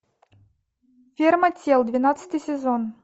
ферма тел двенадцатый сезон